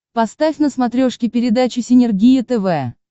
поставь на смотрешке передачу синергия тв